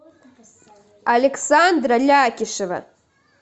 александра лякишева